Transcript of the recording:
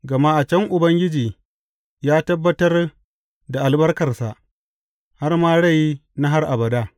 Gama a can Ubangiji ya tabbatar da albarkarsa, har ma rai na har abada.